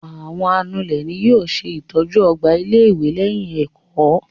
Àwọn anulẹ̀ ni yóò ṣe ìtọ́jú ọgbà ilé-ìwé lẹ́yìn ẹ̀kọ́.